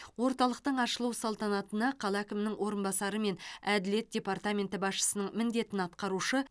орталықтың ашылу салтанатына қала әкімінің орынбасары мен әділет департаменті басшысының міндетін атқарушы